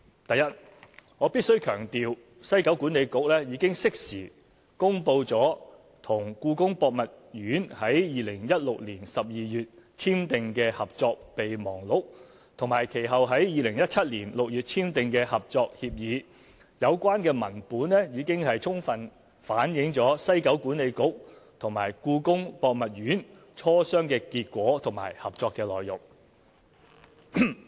第一，我必須強調，西九管理局已經適時公布與故宮博物院於2016年12月簽訂的《合作備忘錄》，以及其後在2017年6月簽訂的《合作協議》，有關文本已經充分反映西九管理局與故宮博物院磋商的結果和合作的內容。